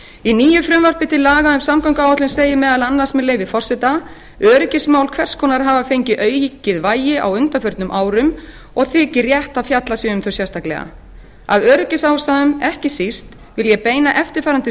í nýju frumvarpi til laga um samgönguáætlun segir meðal annars með leyfi forseta öryggismál hvers konar hafa fengið aukið vægi á undanförnum árum og þykir rétt að fjallað sé um þau sérstaklega af öryggisástæðum ekki síst við ég ekki síst vil ég beina eftirfarandi